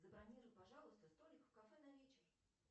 забронируй пожалуйста столик в кафе на вечер